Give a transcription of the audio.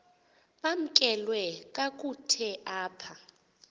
bamkelwe kakuhte apha